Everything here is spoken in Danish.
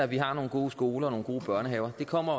vi har nogle gode skoler og nogle gode børnehaver det kommer